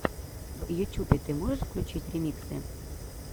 в ютюбе ты можешь включить ремиксы